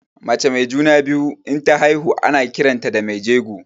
Mace mai juna-biyu inta haihu ana kiranta da mai jego.